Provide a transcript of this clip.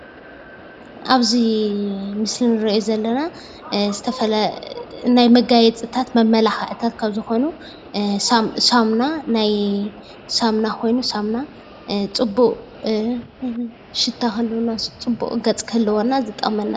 አብዚ ምስሊ እነሪኦ ዘለና ናይ መጋየፂታት መመላዕክታትካብ ዝኾኑ ሳሙና ኮይኑ ፅቡቅ ሽታ ክህልወና ፅቡቅ ገፅ ክህልወና ዝጠቅመና እዩ፡፡